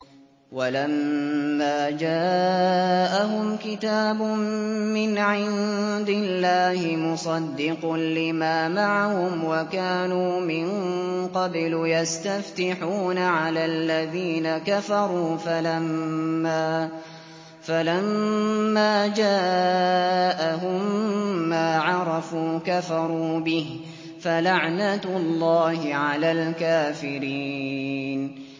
وَلَمَّا جَاءَهُمْ كِتَابٌ مِّنْ عِندِ اللَّهِ مُصَدِّقٌ لِّمَا مَعَهُمْ وَكَانُوا مِن قَبْلُ يَسْتَفْتِحُونَ عَلَى الَّذِينَ كَفَرُوا فَلَمَّا جَاءَهُم مَّا عَرَفُوا كَفَرُوا بِهِ ۚ فَلَعْنَةُ اللَّهِ عَلَى الْكَافِرِينَ